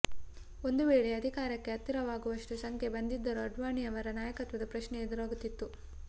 ಒಂದು ವೇಳೆ ಅಧಿಕಾರಕ್ಕೆ ಹತ್ತಿರವಾಗುವಷ್ಟು ಸಂಖ್ಯೆ ಬಂದಿದ್ದರೂ ಆಡ್ವಾಣಿಯವರ ನಾಯಕತ್ವದ ಪ್ರಶ್ನೆ ಎದುರಾಗುತ್ತಿತ್ತು